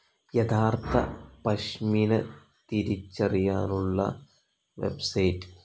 യഥാർത്ഥ പഷ്മിന തിരിച്ചറിയാനുള്ള വെബ്സൈറ്റ്‌